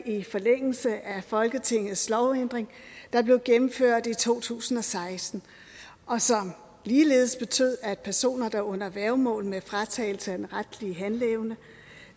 i forlængelse af folketingets lovændring der blev gennemført i to tusind og seksten og som ligeledes betød at personer der er under værgemål med fratagelse af den retlige handleevne